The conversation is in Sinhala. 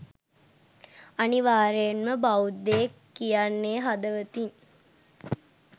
අනිවාර්යෙන්ම බෞද්ධයෙක් කියන්නෙ හදවතින්